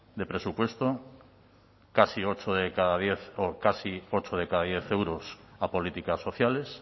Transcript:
de presupuesto casi ocho de cada diez casi ocho de cada diez euros a políticas sociales